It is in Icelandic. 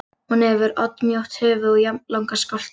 Hún hefur oddmjótt höfuð og jafnlanga skolta.